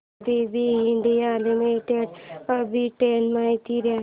ABB India limited arbitrage माहिती दे